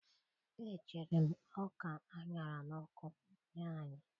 Echere m ọka a ṅara n'ọkụ nye anyị.